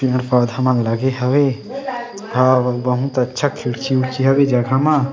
पेड़-पौधा मन लगे हवे हव बहुत अच्छा खिड़की उड़की हे जगह मा--